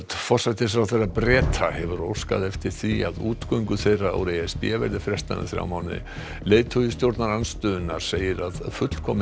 forsætisráðherra Breta hefur óskað eftir því að útgöngu þeirra úr e s b verði frestað um þrjá mánuði leiðtogi stjórnarandstöðunnar segir að fullkomin